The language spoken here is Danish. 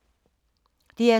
DR2